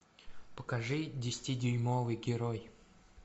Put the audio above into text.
покажи десяти дюймовый герой